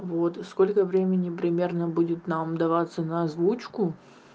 вот сколько времени примерно будет нам деваться на озвучку